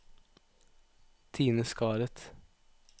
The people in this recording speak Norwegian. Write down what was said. Tine Skaret